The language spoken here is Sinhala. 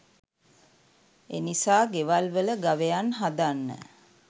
එනිසා ගෙවල් වල ගවයන් හදන්න